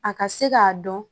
A ka se k'a dɔn